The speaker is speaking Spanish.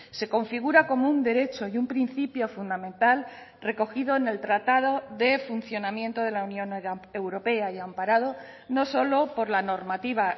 se configura como un derecho y un principio fundamental recogido en el tratado de funcionamiento de la unión europea y amparado no solo por la normativa